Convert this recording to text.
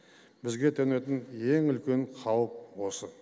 бізге төнетін ең үлкен қауіп осы